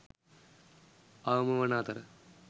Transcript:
අවම වන අතර